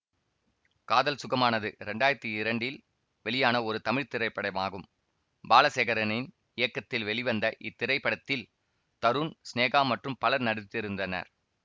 காதல் சுகமானது இரண்டாயிரத்தி இரண்டில் வெளியான ஒரு தமிழ் திரைப்படமாகும் பாலசேகரனின் இயக்கத்தில் வெளிவந்த இத்திரைப்படத்தில் தருண் சினேகா மற்றும் பலர் நடித்திருந்தனர்